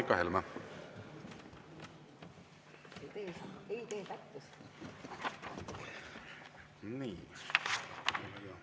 Aitäh, Helle-Moonika Helme!